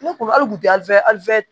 Ne kun a kun tɛ